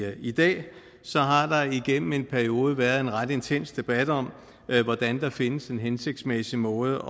i dag igennem en periode været en ret intens debat om hvordan der findes en hensigtsmæssig måde